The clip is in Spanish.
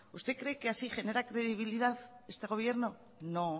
usted cree que así genera credibilidad este gobierno no